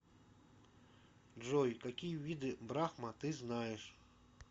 джой какие виды брахма ты знаешь